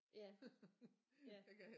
Ja ja